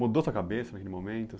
Mudou a sua cabeça naquele momento?